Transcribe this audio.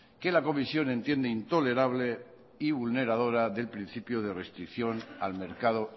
que la comisión entiende intolerable y vulneradora del principio de restricción al mercado